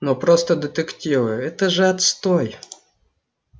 ну просто детективы это же отстой